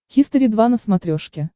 хистори два на смотрешке